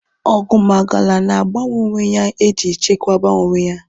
Oguwmagala na agbanwe onwe ha eji chekwaba onwe ya